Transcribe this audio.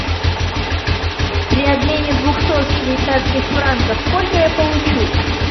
при обмене двухсот швейцарских франков сколько я получу